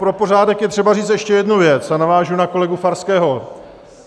Pro pořádek je třeba říct ještě jednu věc, a navážu na kolegu Farského.